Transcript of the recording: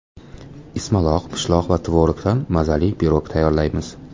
Ismaloq, pishloq va tvorogdan mazali pirog tayyorlaymiz.